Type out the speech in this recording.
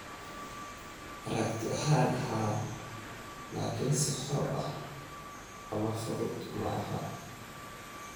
Aragti ahaan, haa, laakiin si xor ah ama fudud maaha.